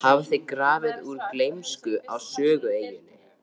hafði grafið úr gleymsku á Sögueyjunni.